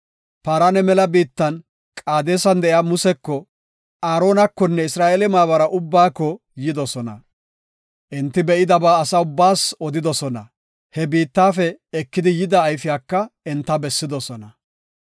Paarana mela biittan Qaadesan de7iya Museko, Aaronakonne Isra7eele maabara ubbaako yidosona. Enti be7idaba asa ubbaas odidosona; he biittafe ekidi yida ayfiyaka enta bessidosona.